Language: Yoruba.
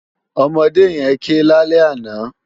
Òmòdé yèn ké lálè àná